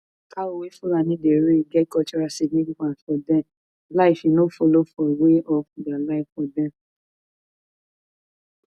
cow wey fulani dey rear get cultural significance for dem life e follow for their way for their way of life